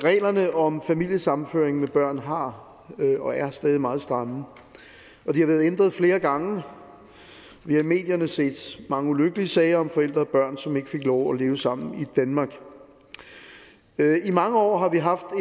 reglerne om familiesammenføring med børn har været og er stadig meget stramme og de har været ændret flere gange vi har i medierne set mange ulykkelige sager om forældre og børn som ikke fik lov at leve sammen i danmark i mange år har vi haft